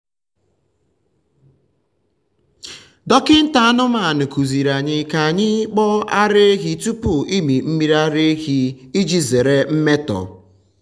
dọkịta anụmanụ kụziri anyị ka anyị kpoo ara ehi tupu ịmị mmiri ara iji zere mmetọ.